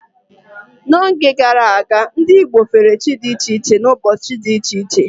N'oge gara aga, ndị Igbo fere chi dị iche iche n'ụbọchị dị iche iche.